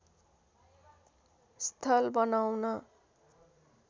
स्थल बनाउन